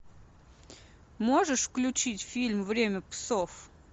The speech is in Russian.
можешь включить фильм время псов